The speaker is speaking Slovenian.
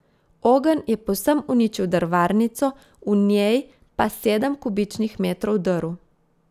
Ogenj je povsem uničil drvarnico, v njej pa sedem kubičnih metrov drv.